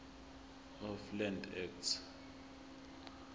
of land act